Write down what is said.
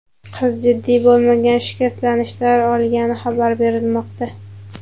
Qiz jiddiy bo‘lmagan shikastlanishlar olgani xabar berilmoqda.